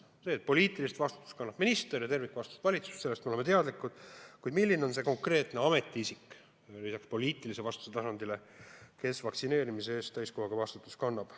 Sellest, et poliitilist vastutust kannab minister ja tervikvastutust valitsus, me oleme teadlikud, kuid tahame teada, milline on see konkreetne ametiisik, lisaks poliitilise vastutuse tasandile, kes vaktsineerimise eest täiskohaga vastutab.